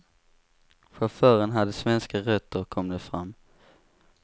Chauffören hade svenska rötter, kom det fram.